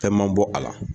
Fɛn man bɔ a la